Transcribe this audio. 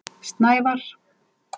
Snævar